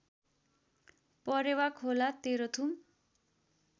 Parewa Khola Terhathum